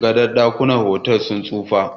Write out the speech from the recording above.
gadon dakunan otal din sun tsufa